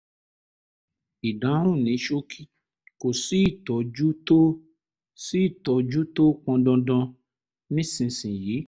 ìdáhùn ní ṣókí: kò sí ìtọ́jú tó sí ìtọ́jú tó pọn dandan nísinsìnyí